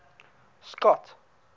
scott